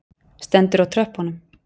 Stendur á tröppunum.